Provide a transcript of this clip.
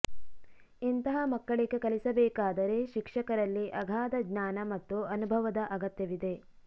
ಇಂತಹ ಮಕ್ಕಳಿಗೆ ಕಲಿಸಬೇಕಾದರೆ ಶಿಕ್ಷಕರಲ್ಲಿ ಅಗಾಧ ಜ್ಞಾನ ಮತ್ತು ಅನುಭವದ ಅಗತ್ಯವಿದೆ